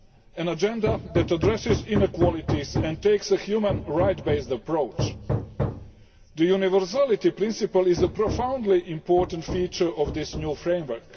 an agenda that addresses inequalities and takes a human rights based approach. The universality principle is a profoundly important feature of this new framework.